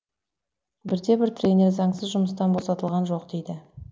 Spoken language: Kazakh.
бірде бір тренер заңсыз жұмыстан босатылған жоқ дейді